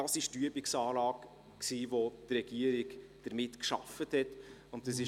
Dies ist die Übungsanlage, mit der die Regierung gearbeitet hat.